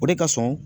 O de ka surun